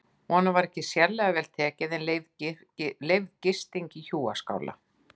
Honum var ekki sérlega vel tekið en leyfð gisting í hjúaskála.